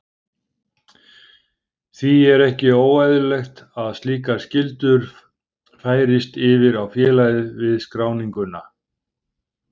Því er ekki óeðlilegt að slíkar skyldur færist yfir á félagið við skráninguna.